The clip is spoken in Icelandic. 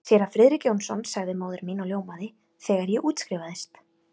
Séra Friðrik Jónsson sagði móðir mín og ljómaði, þegar ég útskrifaðist.